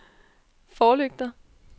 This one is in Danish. forlygter